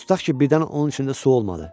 Tutaq ki, birdən onun içində su olmadı.